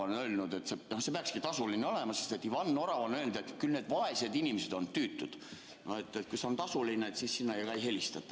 No see peakski tasuline olema, sest Ivan Orav on öelnud, et küll need vaesed inimesed on tüütud – no et kui see on tasuline, siis sinna ka ei helistata.